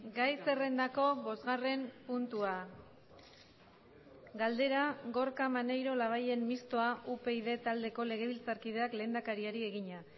gai zerrendako bosgarren puntua galdera gorka maneiro labayen mistoa upyd taldeko legebiltzarkideak lehendakariari egina